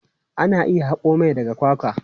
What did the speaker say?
Ana iya haƙo mai daga kwakwa.